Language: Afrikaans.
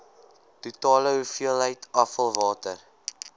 totale hoeveelheid afvalwater